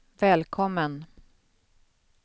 välkommen